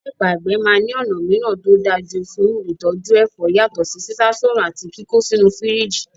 Láìpẹ́, àgbẹ̀ máa ní ọ̀nà mìíràn tó dájú fún ìtọ́jú ẹ̀fọ́ yàtọ̀ sí sísá soòrùn àti kíkó sínú fírìjì.